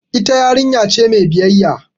Ita yarinya ce mai biyayya.